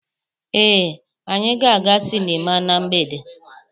Ee, anyị ga-aga sịnịma na mgbede.